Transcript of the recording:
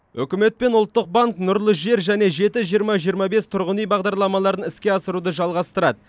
үкімет пен ұлттық банк нұрлы жер және жеті жиырма жиырма бес тұрғын үй бағдарламаларын іске асыруды жалғастырады